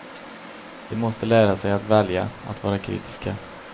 De måste lära sig att välja, att vara kritiska.